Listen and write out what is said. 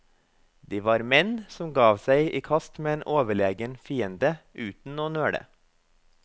De var menn, som gav seg i kast med en overlegen fiende uten å nøle.